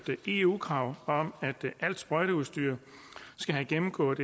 eu krav om at alt sprøjteudstyr skal have gennemgået